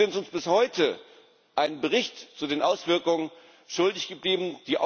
Sie sind uns bis heute einen Bericht zu den Auswirkungen schuldig geblieben.